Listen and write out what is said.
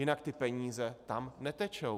Jinak ty peníze tam netečou.